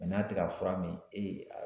n'a tɛ ka fura min